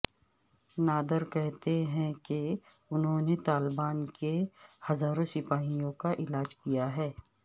نادر کہتے ہیں کہ انھوں نے طالبان کے ہزاروں سپاہیوں کا علاج کیا ہے